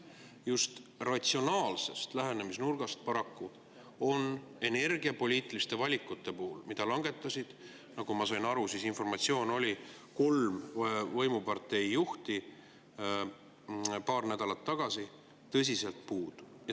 Just ratsionaalsest lähenemisnurgast on paraku energiapoliitiliste valikute puhul, mille langetasid, nagu ma sain aru – selline informatsioon oli –, kolm võimupartei juhti paar nädalat tagasi, tõsiselt puudu.